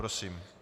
Prosím.